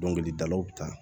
Dɔnkilidalaw ta